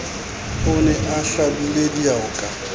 o ne a hlabile dioka